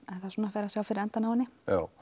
en það fer að sjá fyrir endann á henni